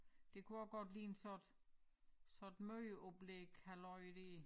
Det kunne også godt ligne sådan et sådan et mødeoplæg halløj dér